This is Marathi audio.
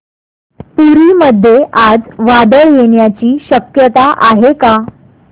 पुरी मध्ये आज वादळ येण्याची शक्यता आहे का